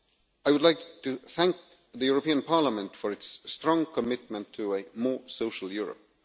I would like to thank the European Parliament for its strong commitment to a more social Europe.